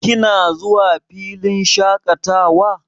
Kina zuwa filin shaƙatawa?